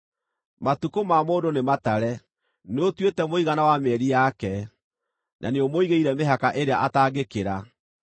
Matukũ ma mũndũ nĩ matare; nĩũtuĩte mũigana wa mĩeri yake, na nĩũmũigĩire mĩhaka ĩrĩa ataangĩkĩra.